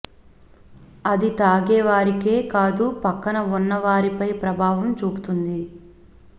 అది తాగే వారికే కాదు పక్కన ఉన్న వారిపై ప్రభావం చూపుతుంది